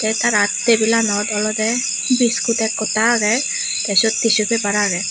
te tara tebil lanot olode biscuit ekota agey te seyot tissu paper agey.